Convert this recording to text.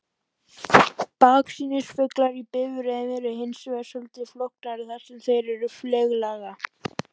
Baksýnisspeglar í bifreiðum eru hins vegar svolítið flóknari þar sem þeir eru fleyglaga.